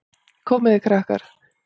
Komið þið, krakkar!